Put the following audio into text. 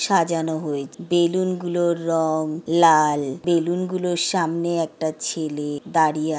সাজানো হয়ে বেলুন গুলোর রং লাল বেলুন গুলোর সামনে একটা ছেলে দাঁড়িয়ে আ--